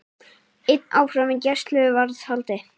Einn áfram í gæsluvarðhaldi